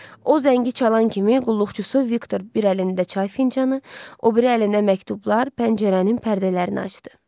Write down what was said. O zəngi çalan kimi qulluqçusu Viktor bir əlində çay fincanı, o biri əlində məktublar, pəncərənin pərdələrini açdı.